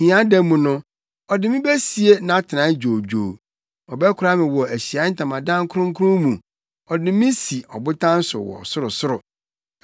Hiada mu no, ɔde me besie nʼatenae dwoodwoo; ɔbɛkora me wɔ Ahyiae Ntamadan kronkron mu ɔde me si ɔbotan so wɔ sorosoro.